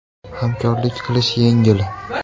Hamkorlik qilish yengil!